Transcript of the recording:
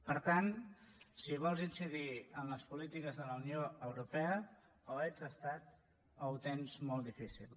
per tant si vols incidir en les polítiques de la unió europea o ets estat o ho tens molt difícil